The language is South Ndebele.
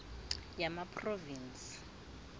yamaphrovinsi